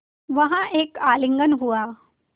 वहाँ एक आलिंगन हुआ